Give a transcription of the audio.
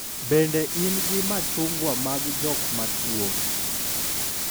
bende in gi machungwa mag jok matuwo?